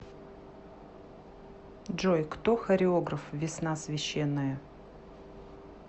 джой кто хореограф весна священная